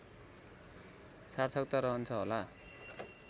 सार्थकता रहन्छ होला